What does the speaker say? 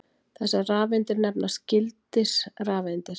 Þessar rafeindir nefnast gildisrafeindir.